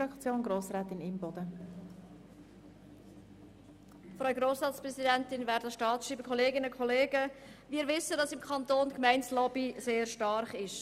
Wir wissen, dass im Kanton Bern die Gemeindelobby sehr stark ist.